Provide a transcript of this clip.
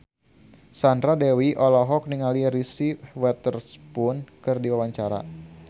Sandra Dewi olohok ningali Reese Witherspoon keur diwawancara